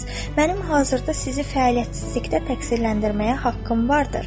Mənim hazırda sizi fəaliyyətsizlikdə təqsirləndirməyə haqqım vardır.